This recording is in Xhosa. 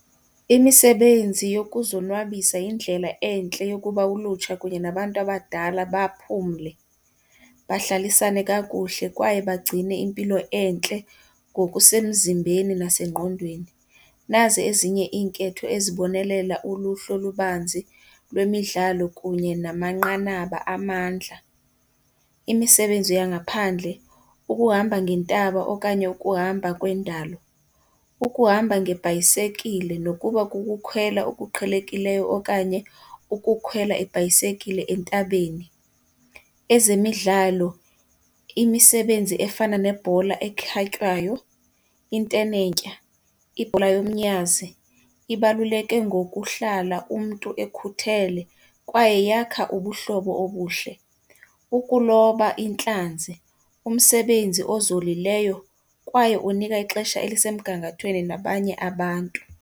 Imisebenzi yokuzonwabisa yindlela entle yokuba ulutsha kunye nabantu abadala baphumle, bahlalisane kakuhle kwaye bagcine impilo entle ngokusemzimbeni nasengqondweni. Nazi ezinye iinketho ezibonelela uluhlu olubanzi lwemidlalo kunye namanqanaba amandla. Imisebenzi yangaphandle, ukuhamba ngeentaba okanye ukuhamba kwendalo, ukuhamba ngebhayisekile nokuba kukukhwela okuqhelekileyo okanye ukukhwela ibhayisekile entabeni. Ezemidlalo, imisebenzi efana nebhola ekhatywayo, intenetya, ibhola yomnyazi ibaluleke ngokuhlala umntu ekhuthele kwaye yakha ubuhlobo obuhle. Ukuloba intlanzi umsebenzi ezolileyo kwaye onika ixesha elisemgangathweni nabanye abantu